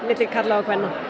til karla og kvenna